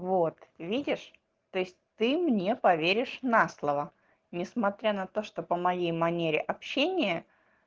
вот видишь то есть ты мне поверишь на слово несмотря на то что по моей манере общения